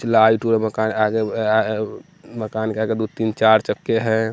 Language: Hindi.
लाइट मकान के आगे दो तीन चार चक्के हैं।